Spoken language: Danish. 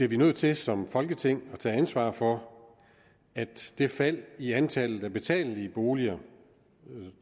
vi nødt til som folketing at tage ansvar for at det fald i antallet af betalelige boliger